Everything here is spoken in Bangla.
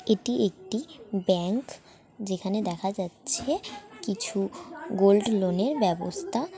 এটি একটি ব্যাংক যেখানে দেখা যাচ্ছে কিছু গোল্ড লোন -র ব্যবস্থা।